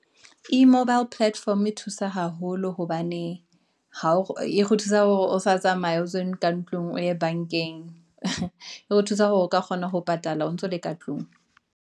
E-Mobile Platform e thusa haholo hobane, e re thusa hore o sa tsamaye ka ntlung o ye bank-eng, e re thusa hore o ka kgona ho patala o ntso le ka tlung.